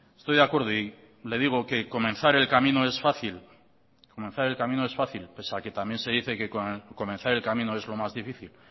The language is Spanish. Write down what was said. estoy de acuerdo y le digo que comenzar el camino es fácil comenzar el camino es fácil pese a que también se dice que comenzar el camino es lo más difícil